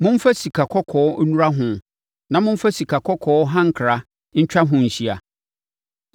Momfa sikakɔkɔɔ nnura ho na momfa sikakɔkɔɔ hankra ntwa ho nhyia.